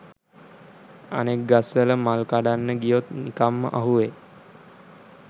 අනෙක් ගස්වල මල් කඩන්න ගියොත් නිකංම අහුවෙයි